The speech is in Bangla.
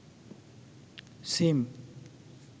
সিম